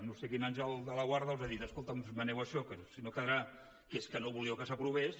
no sé quin àngel de la guarda els ha dit escolta’m esmeneu això que si no quedarà que és que no volíeu que s’aprovés